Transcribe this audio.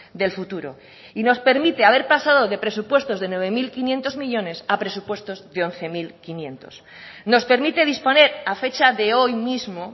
del futuro y nos permite haber pasado de presupuestos de nueve mil quinientos millónes a presupuestos de once mil quinientos nos permite disponer a fecha de hoy mismo